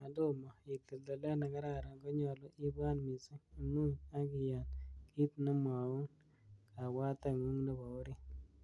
Yon tomo itil tilet nekararan konyolu, ibwat missing, imuny ak iyan kit nemwoun kabwateng'ung nebo orit.